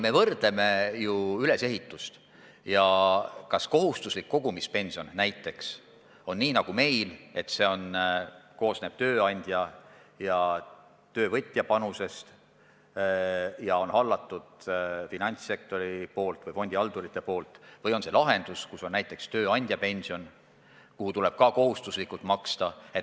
Me võrdleme ju ülesehitust – seda, kas kohustuslik kogumispension koosneb nii nagu meil tööandja ja töövõtja panusest ning kas seda haldab finantssektor või fondihaldur või on tegemist lahendusega, mis sisaldab näiteks tööandja pensionit, aga millesse tuleb ka kohustuslikult maksta.